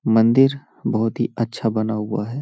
मंदिर बोहोत ही अच्छा बना हुआ है ।